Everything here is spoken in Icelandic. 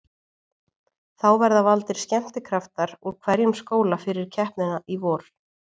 Þá verða valdir skemmtikraftar úr hverjum skóla fyrir keppnina í vor.